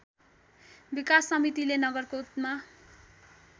विकास समितिले नगरकोटमा